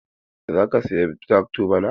Za ka saya trakto bana?